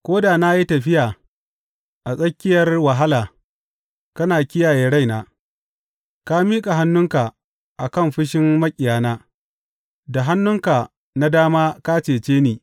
Ko da na yi tafiya a tsakiyar wahala, kana kiyaye raina; ka miƙa hannunka a kan fushin maƙiyana, da hannunka na dama ka cece ni.